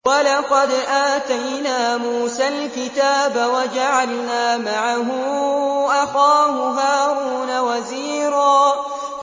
وَلَقَدْ آتَيْنَا مُوسَى الْكِتَابَ وَجَعَلْنَا مَعَهُ أَخَاهُ هَارُونَ وَزِيرًا